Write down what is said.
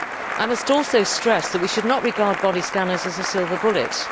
I must also stress that we should not regard body scanners as a silver bullet.